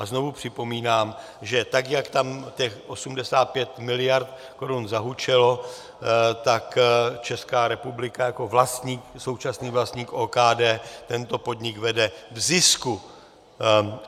A znovu připomínám, že tak jak tam těch 85 miliard korun zahučelo, tak Česká republika jako vlastník, současný vlastník OKD tento podnik vede v zisku.